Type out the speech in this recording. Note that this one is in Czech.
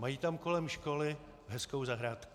Mají tam kolem školy hezkou zahrádku.